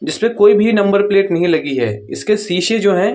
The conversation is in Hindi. जिसपे कोई भी नंबर प्लेट नहीं लगी है। इसके सीशे जो हैं --